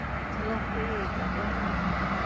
ਚਲੋ ਠੀਕ ਆ ਠੀਕ ਆ